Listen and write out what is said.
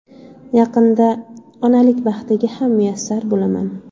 Yaqinda onalik baxtiga ham muyassar bo‘laman.